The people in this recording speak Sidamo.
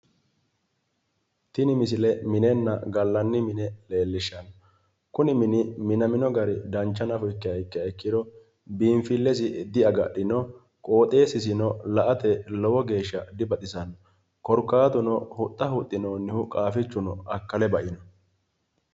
Tini misile minenna gallanni mine leellishanno kuni mini minamino gari dancha nafa ikkiha ikkiro biinfillesi diagadhino qoxeessisino la"ate lowo geeshsha dibaxisanno korkaatuno huxxa huxxinoonnihu qaaffichuno akkale ba'ino.